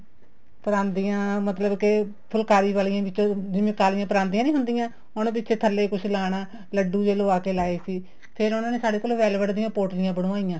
ਪਰਾਂਦੀਆਂ ਮਤਲਬ ਕੀ ਫੁਲਕਾਰੀ ਵਾਲੀਆਂ ਵਿੱਚੋ ਜਿਵੇਂ ਕਾਲੀਆਂ ਪਰਾਂਦੀਆਂ ਨਹੀ ਹੁੰਦੀਆਂ ਹੁਣ ਵਿੱਚ ਥੱਲੇ ਕੁੱਛ ਲਾਣਾ ਲੱਡੂ ਜ਼ੇ ਲਵਾਕੇ ਲਾਏ ਸੀ ਫ਼ੇਰ ਉਹਨਾ ਨੇ ਸਾਡੇ ਕੋਲ well vet ਦੀਆਂ ਪੋਟਲੀਆਂ ਬਣਵਾਈਆਂ